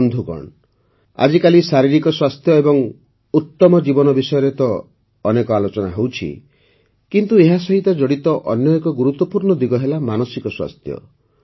ବନ୍ଧୁଗଣ ଆଜିକାଲି ଶାରୀରିକ ସ୍ୱାସ୍ଥ୍ୟ ଏବଂ ଉତ୍ତମ ଜୀବନ ବିଷୟରେ ତ ଅନେକ ଆଲୋଚନା ହେଉଛି କିନ୍ତୁ ଏହା ସହିତ ଜଡ଼ିତ ଅନ୍ୟ ଏକ ଗୁରୁତ୍ୱପୂର୍ଣ୍ଣ ଦିଗ ହେଲା ମାନସିକ ସ୍ୱାସ୍ଥ୍ୟ